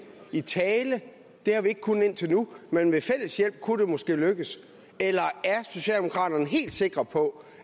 i tale det har vi ikke kunnet indtil nu men ved fælles hjælp kunne det måske lykkes eller er socialdemokraterne helt sikre på